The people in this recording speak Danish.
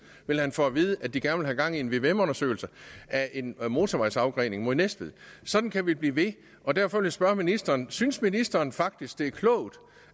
vil han få at vide at de gerne vil have gang i en vvm undersøgelse af en motorvejsafgrening mod næstved og sådan kan vi blive ved og derfor vil jeg spørge ministeren synes ministeren faktisk det er klogt